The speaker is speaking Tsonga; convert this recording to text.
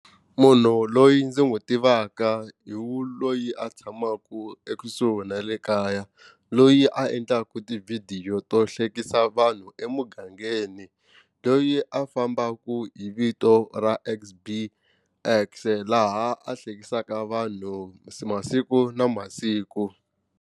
Munhu loyi ndzi n'wi tivaka hi wu loyi a tshamaka ekusuhi na le kaya loyi a endlaka tivhidiyo to hlekisa vanhu emugangeni loyi a fambaka hi vito ra X_B_X laha a hleketisaka vanhu masiku na masiku.